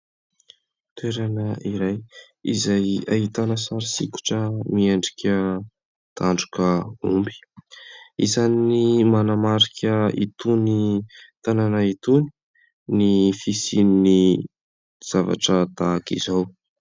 Toerana iray izay ahitana sary sokitra miendrika tandroka omby. Isan'ny manamarika itony tanàna itony ny fisian'ny zavatra tahaka izao.